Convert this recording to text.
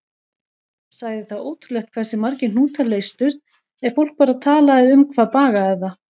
Sagði það ótrúlegt hversu margir hnútar leystust ef fólk bara talaði um hvað bagaði það.